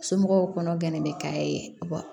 Somɔgɔw kɔnɔ gɛnnen bɛ ka ye